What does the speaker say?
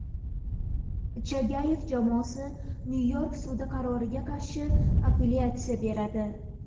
Chagayev jamoasi Nyu-York sudi qaroriga qarshi apellyatsiya beradi.